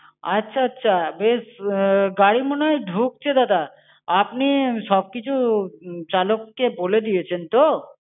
আচ্ছা, আচ্ছা, বেশ গাড়ি মনে হয় ঢুকছে দাদা। আপনি সব কিছু চালককে বলে দিয়েছেন তো?